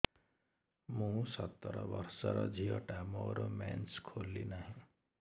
ମୁ ସତର ବର୍ଷର ଝିଅ ଟା ମୋର ମେନ୍ସେସ ଖୁଲି ନାହିଁ